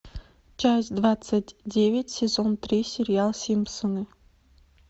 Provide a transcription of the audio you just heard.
часть двадцать девять сезон три сериал симпсоны